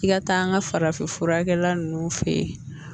I ka taa an ka farafin furakɛla ninnu fɛ yen